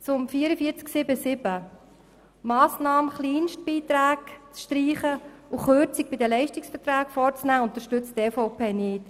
Zu 44.7.7, der Massnahme, Kleinstbeiträge zu streichen und Kürzungen über die Leistungsverträge vorzunehmen: Dies unterstützt die EVP nicht.